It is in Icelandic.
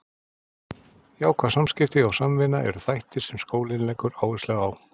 Jákvæð samskipti og samvinna eru þættir sem skólinn leggur áherslu á.